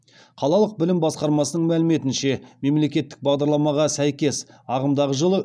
қалалық білім басқармасының мәліметінше мемлекеттік бағдарламаға сәйкес ағымдағы жылы